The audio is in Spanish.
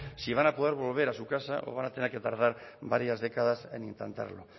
sí van a poder volver a su casa o van a tener que tardar varías décadas en intentarlo